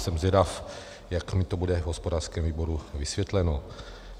Jsem zvědav, jak mi to bude v hospodářském výboru vysvětleno.